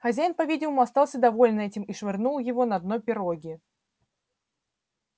хозяин по видимому остался доволен этим и швырнул его на дно пироги